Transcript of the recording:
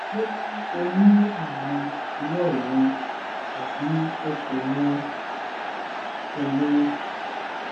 bóyá o ní ààrùn ìdíwọ́ èémí tàbí o kò ní kò ní i